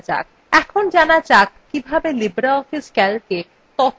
এখন জানা যাক কিভাবে libreoffice calcএ তথ্য filter বা বাছা যায়